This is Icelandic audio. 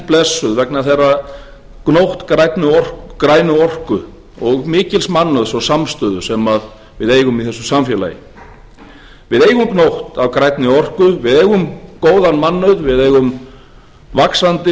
blessuð vegna þeirrar gnóttar grænnar orku og mikils mannauðs og samstöðu sem við eigum í þessu samfélagi við eigum gnótt af grænni orku við eigum góðan mannauð við eigum vaxandi